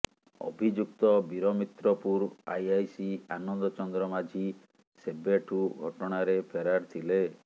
ଅଭିଯୁକ୍ତ ବୀରମିତ୍ରପୁର ଆଇଆଇସି ଆନନ୍ଦ ଚନ୍ଦ୍ର ମାଝୀ ସେବେଠୁ ଘଟଣାରେ ଫେରାର ଥିଲେ